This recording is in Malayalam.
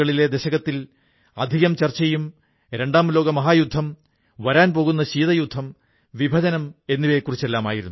എന്റെ പ്രിയപ്പെട്ട ദേശവാസികളേ ലോക്ഡൌൺ സമയത്ത് ടെക്നോളജി ബേസ്ഡ് സർവീസ് ഡെലിവറിയുടെ പല പരീക്ഷണങ്ങളും നമ്മുടെ രാജ്യത്ത് നടന്നു